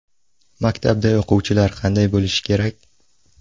Maktabda o‘quvchilar qanday bo‘lishi kerak?